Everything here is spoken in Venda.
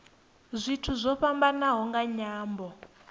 zwithu zwo fhambanaho nga nyambo